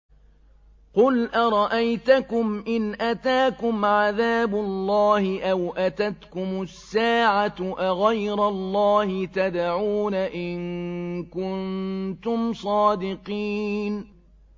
قُلْ أَرَأَيْتَكُمْ إِنْ أَتَاكُمْ عَذَابُ اللَّهِ أَوْ أَتَتْكُمُ السَّاعَةُ أَغَيْرَ اللَّهِ تَدْعُونَ إِن كُنتُمْ صَادِقِينَ